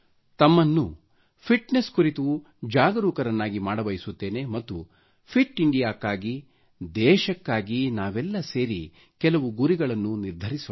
ತಮಗೆ ಫಿಟ್ನೆಸ್ ಗಾಗಿ ಜಾಗರೂಕರನ್ನಾಗಿ ಮಾಡ ಬಯಸುತ್ತೆನೆ ಮತ್ತು ಫಿಟ್ ಇಂಡಿಯಾ ಕ್ಕಾಗಿ ದೇಶಕ್ಕಾಗಿ ನಾವೆಲ್ಲ ಸೇರಿ ಕೆಲವು ಗುರಿಗಳನ್ನು ನಿರ್ಧರಿಸೋಣ